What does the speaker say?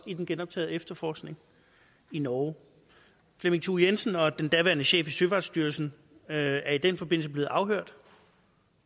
i den genoptagne efterforskning i norge flemming thue jensen og den daværende chef i søfartsstyrelsen er i den forbindelse blevet afhørt